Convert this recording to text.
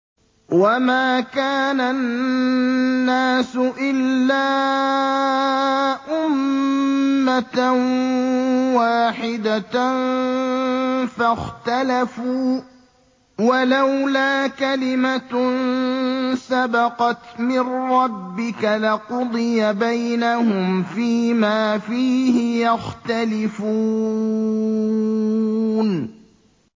وَمَا كَانَ النَّاسُ إِلَّا أُمَّةً وَاحِدَةً فَاخْتَلَفُوا ۚ وَلَوْلَا كَلِمَةٌ سَبَقَتْ مِن رَّبِّكَ لَقُضِيَ بَيْنَهُمْ فِيمَا فِيهِ يَخْتَلِفُونَ